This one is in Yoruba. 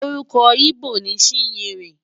Orúkọ íbò ni Chinyere.